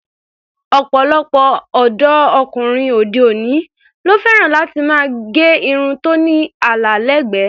Ọ̀pọ̀lọpọ̀ ọ̀dọ́ ọkùnrin òde-òní ló fẹ́ràn láti máa gẹ irun tó ní àlà ẹlẹ́gbẹ̀ẹ́.